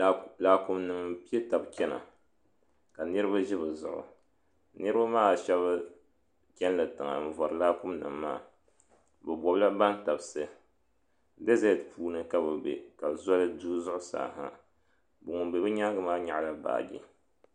Laakumi nima m piɛ taba chena ka niriba ʒi bɛ zuɣu niriba maa sheba cheni la tiŋa n vori laakumi nima maa bɛ nobila bantabsi dezeti puuni ka bɛ be ka zoli du zuɣusaa ha ŋun be bɛ nyaanga maa nyaɣala baaji.